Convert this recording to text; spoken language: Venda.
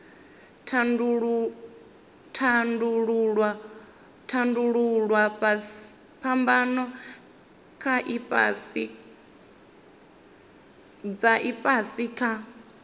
tandululwa phambano dza ifhasi kha